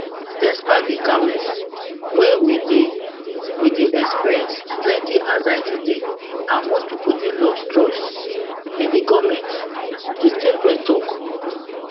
despite di calmness wey we dey we dey experience plenti anxiety dey and most pipo dey lose trust in di goment di statement tok